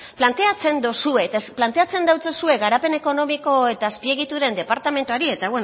planteatzen duzue eta planteatzen dautsozue garapen ekonomiko eta azpiegituren departamentuari eta